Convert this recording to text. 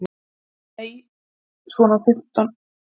Nei, svona fimm mínútur.